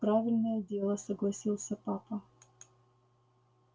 правильное дело согласился папа